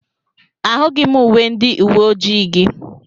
Ahụghị m uwe ndị uwe ojii gị.